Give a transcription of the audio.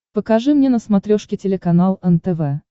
покажи мне на смотрешке телеканал нтв